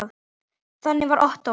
Þannig var Ottó.